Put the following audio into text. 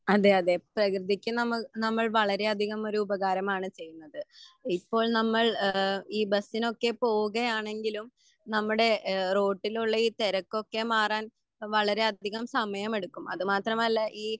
അതെ അതെ പ്രകൃതിക്ക് നമ്മൾ നമ്മൾ വളരെ അധികം ഒരു ഉപകാരമാണ് ചെയുന്നത് ഇപ്പോൾ നമ്മൾ എഹ് ഈ ബസിനൊക്കെ പോവുകയാണെങ്കിലും നമ്മുടെ എഹ് റോട്ടിലുള്ള ഈ തെരക്കൊക്കെ മാറാൻ വളരെ അധികം സമയം എടുക്കും അത് മാത്രമല്ല ഈ